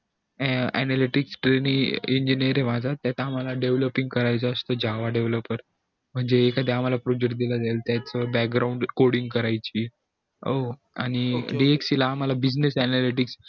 analytic train engineering त्यात आम्हला developing java developer म्हणजे एखादा आम्हला project दिला जाईल त्यात background coding करायची हो आणि bsc ला आम्हला business analytic